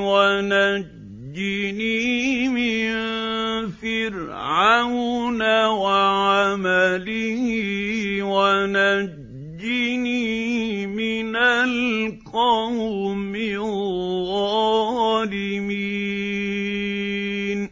وَنَجِّنِي مِن فِرْعَوْنَ وَعَمَلِهِ وَنَجِّنِي مِنَ الْقَوْمِ الظَّالِمِينَ